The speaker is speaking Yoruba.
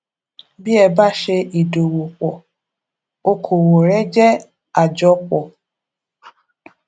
bí ẹ bá ṣe ìdòwòpò okòwò rẹ jẹ àjopò